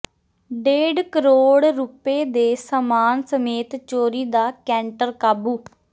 ਡੇਢ ਕਰੋੜ ਰੁਪਏ ਦੇ ਸਾਮਾਨ ਸਮੇਤ ਚੋਰੀ ਦਾ ਕੈਂਟਰ ਕਾਬੂ